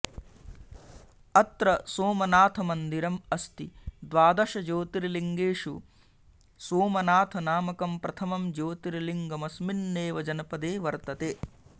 अत्र सोमनाथमन्दिरम् अस्ति द्वादश ज्योतिर्लिङ्गेषु सोमनाथ नामकं प्रथमं ज्योतिर्लिङ्गममस्मिन्नेव जनपदे वर्तते